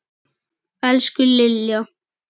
Elsku Lilja.